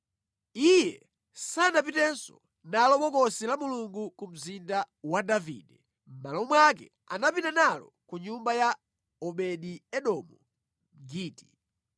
Iye sanapitenso nalo Bokosi la Mulungu ku Mzinda wa Davide. Mʼmalo mwake anapita nalo ku nyumba ya Obedi-Edomu Mgiti.